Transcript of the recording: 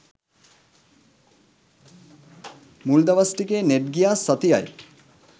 මුල් දවස් ටිකේ නෙට් ගියා සතියයි